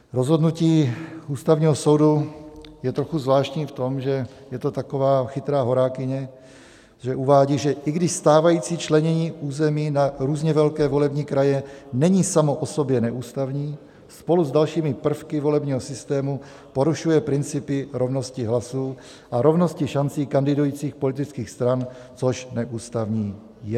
Rozhodnutí Ústavního soudu je trochu zvláštní v tom, že je to taková chytrá horákyně, že uvádí, že i když stávající členění území na různě velké volební kraje není samo o sobě neústavní, spolu s dalšími prvky volebního systému porušuje principy rovnosti hlasů a rovnosti šancí kandidujících politických stran, což neústavní je.